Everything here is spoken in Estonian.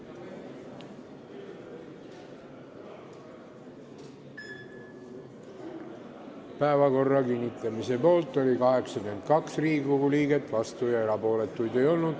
Hääletustulemused Päevakorra kinnitamise poolt oli 82 Riigikogu liiget, vastuolijaid ega erapooletuid ei olnud.